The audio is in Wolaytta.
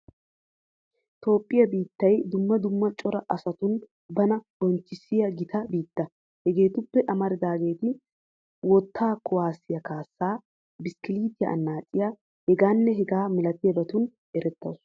Toophphiya biittiya dumma dumma cora oosotun bana bonchchissiya gita biitta. Hegeetuppe amaridaageeti: wottaa kuwaasiya kaassaa, biskkiliitiya annaaciya, hegaanne hegaa milatiyabatun erettawusu.